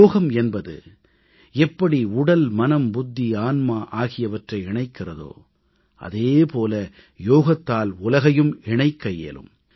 யோகம் என்பது எப்படி உடல் மனம் புத்தி ஆன்மா ஆகியவற்றை இணைக்கிறதோ அதே போல யோகத்தால் உலகையும் இணைக்க இயலும்